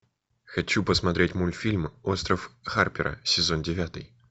хочу посмотреть мультфильм остров харпера сезон девятый